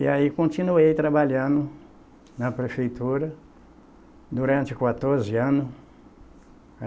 E aí continuei trabalhando na prefeitura durante quatorze anos.